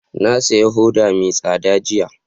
Na saya hoda mai tsada jiya